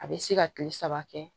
A bɛ se ka kile saba kɛ